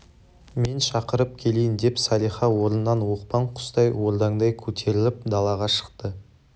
мен шақырып келейін деп салиха орнынан оқпан құстай ордаңдай көтеріліп далаға шықты